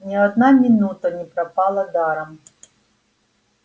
ни одна минута не пропала даром